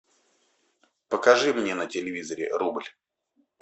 покажи мне на телевизоре рубль